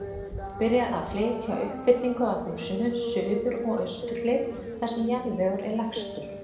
Byrjað að flytja uppfyllingu að húsinu, suður og austur hlið, þar sem jarðvegur er lægstur.